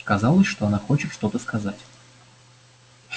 казалось что она хочет что-то сказать